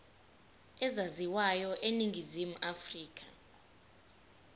ezaziwayo eningizimu afrika